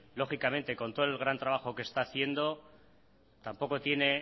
lógicamente con todo el bueno trabajo que está haciendo tampoco tiene